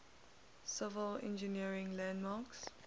civil engineering landmarks